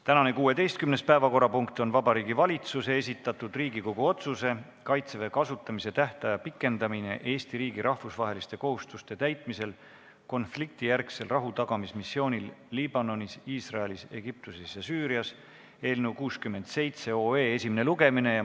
Tänane 16. päevakorrapunkt on Vabariigi Valitsuse esitatud Riigikogu otsuse "Kaitseväe kasutamise tähtaja pikendamine Eesti riigi rahvusvaheliste kohustuste täitmisel konfliktijärgsel rahutagamismissioonil Liibanonis, Iisraelis, Egiptuses ja Süürias" eelnõu 67 esimene lugemine.